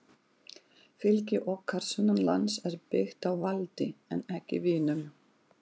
Fylgi okkar sunnanlands er byggt á valdi en ekki vinum.